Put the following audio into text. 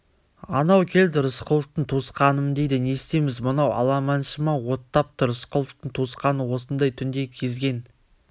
анау келді рысқұловтың туысқанымын дейді не істейміз мынау аламаншы ма оттапты рысқұловтың туысқаны осындай түнде кезген